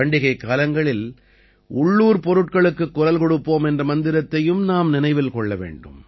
பண்டிகைக் காலங்களில் உள்ளூர் பொருட்களுக்குக் குரல் கொடுப்போம் என்ற மந்திரத்தையும் நாம் நினைவில் கொள்ள வேண்டும்